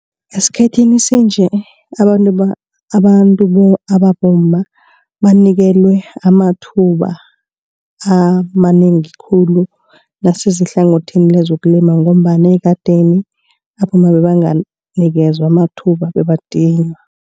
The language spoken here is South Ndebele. Esikhathini sanje abantu abantu ababomma banikelwe amathuba amanengi khulu nasiza ehlangothini lezokulima ngombana ekadeni abomma bebanganikezwa amathuba bebadinywa.